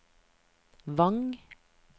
Vang